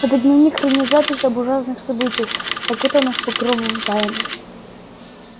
этот дневник хранит записи об ужасных событиях окутанных покровом тайны